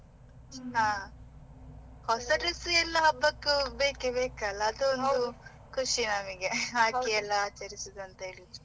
ಹಾ, ಹೊಸ dress ಎಲ್ಲಾ ಹಬ್ಬಕ್ಕೂ ಎಲ್ಲ ಬೇಕೇ ಬೇಕಲ್ಲ, ಖುಷಿ ನಮಿಗೆ ಹಾಕಿ ಎಲ್ಲ ಆಚರಿಸುವುದು ಅಂತ ಹೇಳಿದ್ರೆ.